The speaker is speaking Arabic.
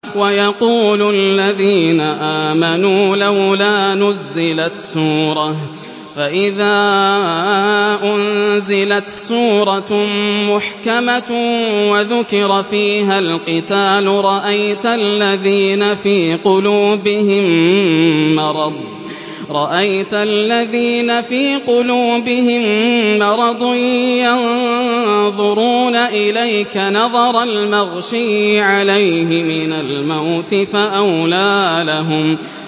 وَيَقُولُ الَّذِينَ آمَنُوا لَوْلَا نُزِّلَتْ سُورَةٌ ۖ فَإِذَا أُنزِلَتْ سُورَةٌ مُّحْكَمَةٌ وَذُكِرَ فِيهَا الْقِتَالُ ۙ رَأَيْتَ الَّذِينَ فِي قُلُوبِهِم مَّرَضٌ يَنظُرُونَ إِلَيْكَ نَظَرَ الْمَغْشِيِّ عَلَيْهِ مِنَ الْمَوْتِ ۖ فَأَوْلَىٰ لَهُمْ